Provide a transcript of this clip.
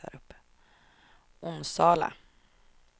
Onsala